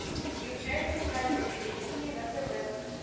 включай центральное телевидение на тв